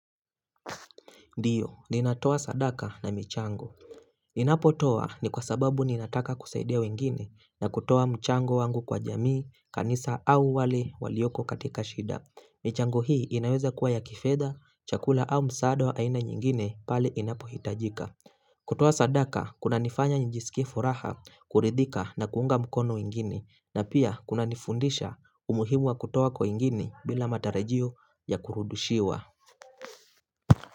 Ndiyo, ninatoa sadaka na michango. Ninapo toa ni kwa sababu ninataka kusaidia wengine na kutoa mchango wangu kwa jamii, kanisa au wale walioko katika shida. Michango hii inaweza kuwa ya kifedha, chakula au msaada wa aina nyingine pale inapohitajika. Kutoa sadaka, kunanifanya nijisikie furaha kuridhika na kuunga mkono wengine na pia kunanifundisha umuhimu wa kutoa kwa wengine bila matarajio ya kurudushiwa.